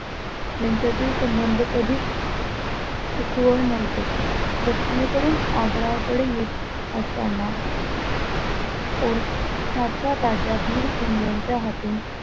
यांच्यातील संबंध कधीच सुखावह नव्हते दक्षिणेकडून आग्रा कडे येत असताना ओरछाचा राजा बिरसिंग यांच्या हातून,